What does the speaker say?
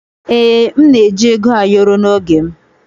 Ee, m na-eji Ego ayoro n'oge m.